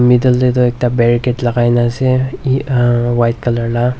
Middle dae tuh ekta barricade lagaina ase e umm white colour la.